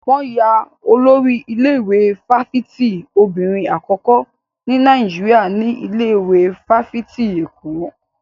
Wọn yan Olórí ilé-ìwé fáfitì obìnrin àkọ́kọ́ ní Nàìjíríà ní ilé ìwé fáfitì Èkó.